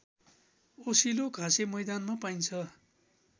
ओसिलो घाँसेमैदानमा पाइन्छ